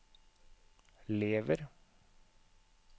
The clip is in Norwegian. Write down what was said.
lever